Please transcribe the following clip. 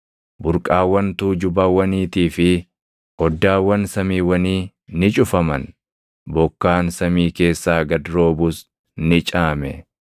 Burqaawwan tuujubawwaniitii fi foddaawwan samiiwwanii ni cufaman; bokkaan samii keessaa gad roobus ni caame.